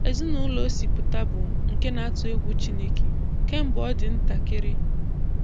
Ezinaụlọ o si pụta bụ nke na-atụ egwu Chineke kemgbe ọ dị ntakịrị.